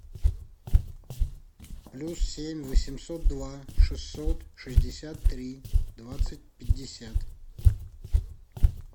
плюс семь восемьсот два шестьсот шестьдесят три двадцать пятьдесят